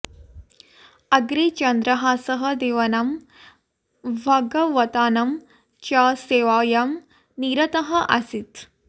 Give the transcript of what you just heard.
अग्रे चन्द्रहासः देवानां भागवतानां च सेवायां निरतः आसीत्